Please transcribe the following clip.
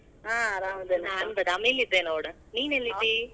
ನಾನ್ ಬದಾಮಿ ಅಲ್ಲಿದ್ದೆ ನೋಡ ನೀನ್ ಎಲ್ಲಿದ್ದಿ?